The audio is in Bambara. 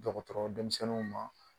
dɔgɔtɔrɔ denmisɛnninw ma.